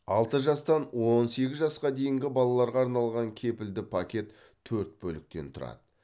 алты жастан он сегіз жасқа дейінгі балаларға арналған кепілді пакет төрт бөліктен тұрады